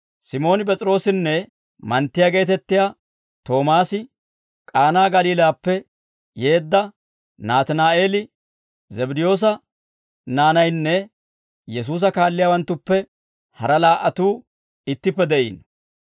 Simooni P'es'iroosinne manttiyaa geetettiyaa Toomaasi, K'aanaa Galiilaappe yeedda Naatinaa'eeli, Zabddiyoosa naanaynne Yesuusa kaalliyaawanttuppe hara laa"atuu ittippe de'iino.